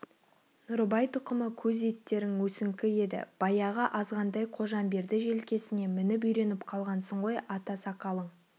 нұрыбай тұқымы көз еттерің өсіңкі еді баяғы азғантай қожамберді желкесіне мініп үйреніп қалғансың ғой ата сақалың